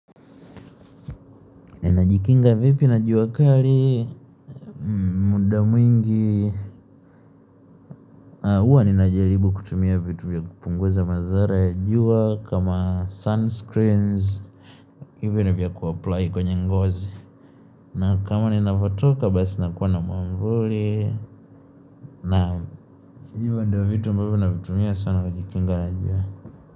Ni najikinga vipi na juuakali, muda mwingi, huwa ni najalibu kutumia vitu vya kupunguza mazara ya jua, kama sunscreens, hivyo ni vya kuapply kwenye ngozi. Na kama ni navatoka, basi nakuwa na mamvoli, na juu ndio vitu vipi na vitumia sana kujikinga na juu.